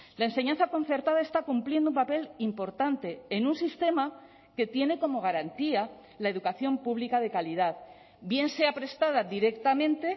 la enseñanza concertada está cumpliendo un papel importante en un sistema que tiene como garantía la educación pública de calidad bien sea prestada directamente